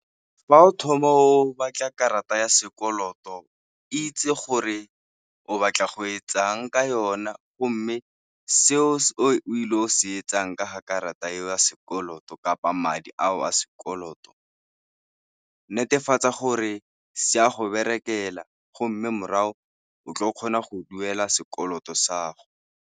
Fa o thoma o batla karata ya sekoloto, itse gore o batla go etsang ka yona go mme seo se o il'o se etsang ka ga karata e o sekoloto kapa madi a o a sekoloto, netefatsa gore se a go berekela go mme morago o tl'o kgona go duela sekoloto sa go.